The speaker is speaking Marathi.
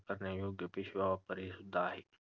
करण्यायोग्य पिशव्या वापरणे हे सुद्धा आहे.